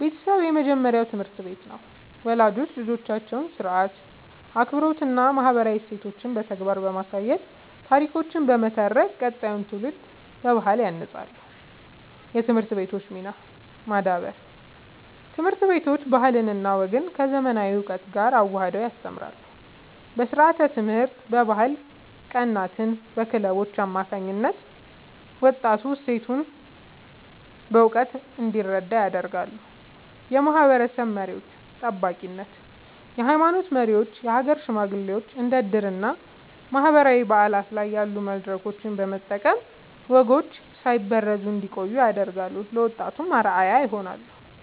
ቤተሰብ የመጀመሪያው ትምህርት ቤት ነው። ወላጆች ልጆቻቸውን ሥርዓት፣ አክብሮትና ማህበራዊ እሴቶችን በተግባር በማሳየትና ታሪኮችን በመተረክ ቀጣዩን ትውልድ በባህል ያንጻሉ። የትምህርት ቤቶች ሚና (ማዳበር)፦ ትምህርት ቤቶች ባህልና ወግን ከዘመናዊ እውቀት ጋር አዋህደው ያስተምራሉ። በስርዓተ-ትምህርት፣ በባህል ቀናትና በክለቦች አማካኝነት ወጣቱ እሴቶቹን በእውቀት እንዲረዳ ያደርጋሉ። የማህበረሰብ መሪዎች (ጠባቂነት)፦ የሃይማኖት መሪዎችና የሀገር ሽማግሌዎች እንደ ዕድርና ማህበራዊ በዓላት ያሉ መድረኮችን በመጠቀም ወጎች ሳይበረዙ እንዲቆዩ ያደርጋሉ፤ ለወጣቱም አርአያ ይሆናሉ።